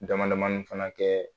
Dama damani fana kɛɛ